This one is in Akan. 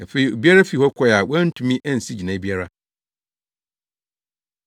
Afei obiara fii hɔ kɔe a wɔantumi ansi gyinae biara.